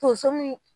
Tonso min